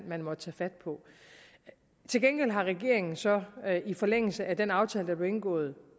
man måtte tage fat på til gengæld har regeringen så i forlængelse af den aftale der blev indgået